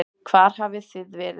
Hvar hafið þið verið?